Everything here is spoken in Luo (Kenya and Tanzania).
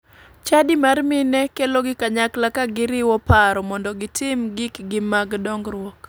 Chadi mar mine kelogi kanyakla ka giriwo paro mondo gitim gikgi mag dongruok.